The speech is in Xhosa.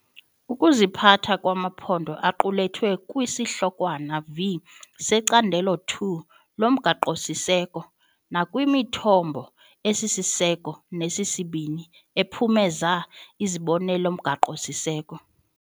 Ukuziphatha kwamaphondo kuqulethwe kwiSihlokwana V seCandelo II loMgaqo-siseko nakwimithombo esisiseko nesesibini ephumeza izibonelelo mgaqo-siseko.